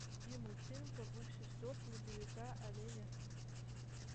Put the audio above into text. найди мультфильм про двух сестер снеговика оленя